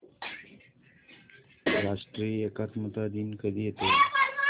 राष्ट्रीय एकात्मता दिन कधी येतो